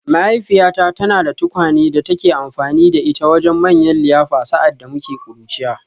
Mahaifiyata tana da tukwane da take amfani da ita wajen manyan liyafa sa’ad da muke ƙuruciya